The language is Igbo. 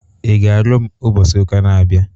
Ị ga-alụ m ụbọchị ụka na-abịa?